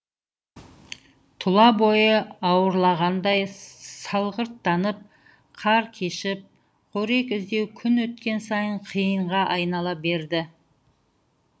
тұла бойы ауырлағандай салғырттанып қар кешіп қорек іздеу күн өткен сайын қиынға айнала берді